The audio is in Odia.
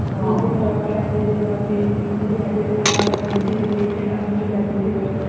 ନିଜେ ନ ଖାଇ ନ ପିନ୍ଧି ସେଗୁଡା ଆମ ପିଲା ପିନ୍ଧିବ